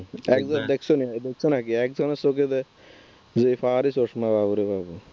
দেখছো না দেখছো নাকি একজনের চোখে যেই power এর চশমা